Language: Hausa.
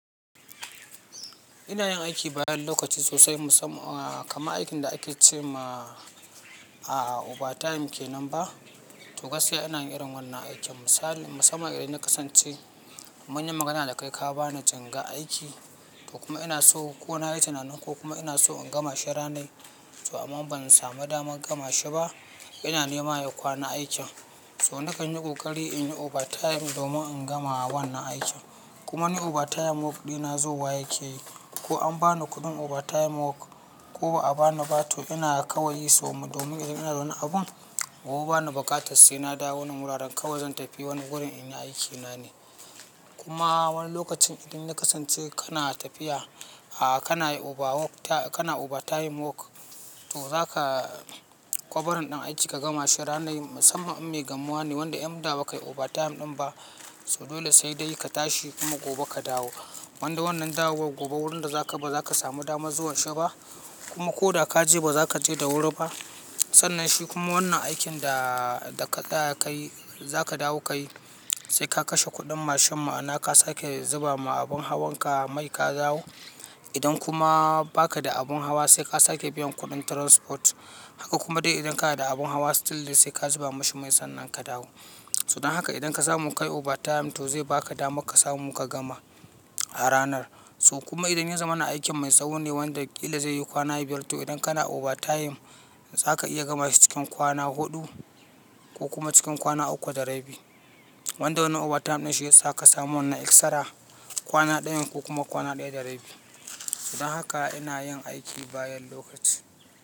Ina yin aiki bayan lokaci sosai, musam-- ah kaman aikin da ake ce ma a'a overtime ke nan ba. To gaskiya ina yin irin wannan aikin misali musamman idan ya kasance mun yi magana da kai ka ba ni jingar aiki to kuma ina so kona yi tunanin ko kuma ina so in gama shi ranai. To amma ban samu damar gama shi ba, yana nema ya kwana aikin. To nakan yi ƙoƙari in yi overtime domin in gama wannan aikin. Kuma ni overtime work dina zauwa yake yi. Ko an ba ni kuɗin overtime work ko ba a ba ni ba to ina kawai yi. To domin idan ina wani abun, gobe bana buƙatar sai na dawo nan wuraren kawai zan tafi wani gurin in yi aikina ne. Kuma wani lokacin idan ya kasance kana tafiya, a'a kana yi overwork ta-- kana overtime work to zaka covering ɗin aiki ka gama shi ranai musamman in mai gamuwa ne wanda in da ba kai overtime ɗin ba. So dole sai dai ka tashi kuma gobe ka dawo. Wanda wannan dawowar gobe, wurin da zaka bazaka samu damar zuwanshi ba kuma ko da ka je ba zaka je da wuri ba. Sannan shi kuma wannan aikin da, da ka, tsaya ka yi zaka dawo ka yi sai ka kashe kuɗin mashin ma'ana ka sake zuba ma abun hawan ka mai ka dawo. Idan kuma ba ka da abun hawa sai ka sake biyan kuɗin transport. Haka kuma dai idan kana da abun hawa still dai sai ka zuba mashi mai sannan ka dawo. To don haka idan ka samu kai overtime to zai baka dama ka samu ka gama a ranar. To kuma idan ya zama na aikin mai tsawone wanda ƙila zai yi kwana biyar to idan kana overtime za ka iya gama shi cikin kwana huɗu ko kuma cikin kwana uku da rabi. Wanda wannan overtime din shiyasa ka samu wannan extra kwana dayan ko kuma kwana daya da rabi. Don haka ina yin aiki bayan lokaci.